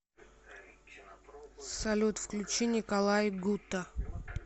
салют включи николай гута